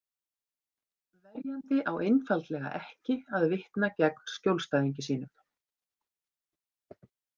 Verjandi á einfaldlega ekki að vitna gegn skjólstæðingi sínum.